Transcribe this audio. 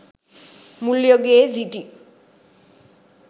මුල් යුගයේ සිටි